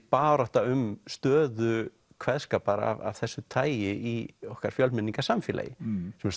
barátta um stöðu kveðskapar af þessu tagi í okkar fjölmenningarsamfélagi sem